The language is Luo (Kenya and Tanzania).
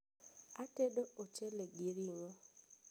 atedo ochele gi ring'o